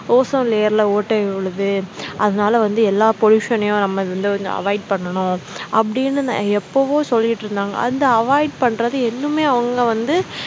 ozone layer ல ஓட்டை விழுது அதனால வந்து எல்லா pollution யும் நம்ம இதுல வந்து avoid பண்ணனும் அப்படின்னு நான் எப்பவோ சொல்லிகிட்டிருந்தாங்க அந்த avoid பண்றது இன்னுமே அவங்க வந்து